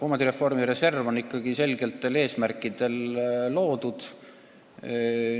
Omandireformi reserv on ikkagi selgetel eesmärkidel loodud.